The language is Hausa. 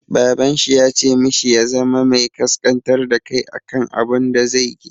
Baban shi ya ce mishi ya zama mai ƙasƙantar da kai a kan abun da zai yi.